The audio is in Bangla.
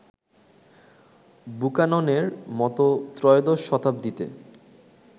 বুকাননের মত ত্রয়োদশ শতাব্দীতে